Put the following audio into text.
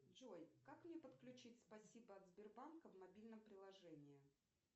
джой как мне подключить спасибо от сбербанка в мобильном приложении